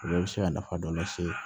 O bɛɛ bɛ se ka nafa dɔ lase